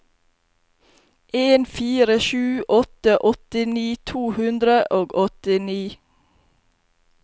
en fire sju åtte åttini to hundre og åttini